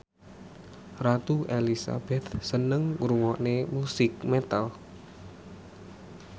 Ratu Elizabeth seneng ngrungokne musik metal